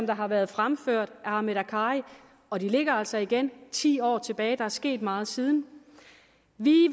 der har været fremført af ahmed akkari og det ligger altså igen ti år tilbage og der er sket meget siden vi